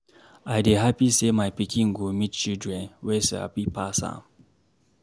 I dey happy say my pikin go meet children wey Sabi pass am